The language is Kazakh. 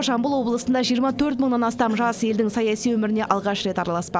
жамбыл облысында жиырма төрт мыңнан астам жас елдің саяси өміріне алғаш рет араласпақ